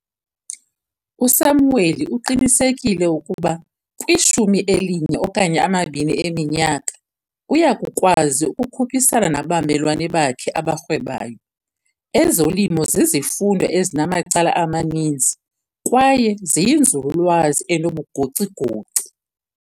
USamuel uqinisekile ukuba kwishumi elinye okanye amabini eminyaka uya kukwazi ukukhuphisana nabamelwane bakhe abarhwebayo. Ezolimo zizifundo ezinamacala amaninzi kwaye ziyinzululwazi enobugoci-goci.